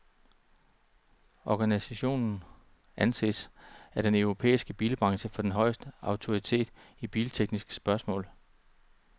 Organisationen anses af den europæiske bilbranche for den højeste autoritet i biltekniske spørgsmål.